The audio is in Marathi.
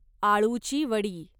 आळूची वडी